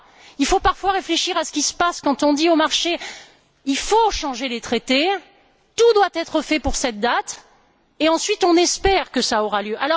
Il faut parfois réfléchir à ce qui se passe quand on dit aux marchés Il faut changer les traités, tout doit être fait pour cette date et qu'ensuite, on espère que cela aura lieu.